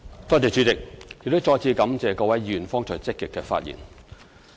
主席，我再次感謝各位議員剛才積極發言。